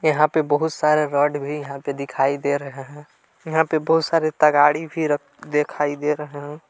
यहां पर बहुत सारे रड भी यहां पे दिखाई दे रहे हैं यहां पे बहुत सारे तगाड़ी भी रख दिखाई दे रहे हैं।